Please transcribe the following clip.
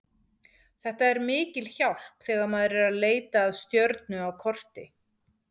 Þetta er mikil hjálp þegar maður er að leita að stjörnu á korti.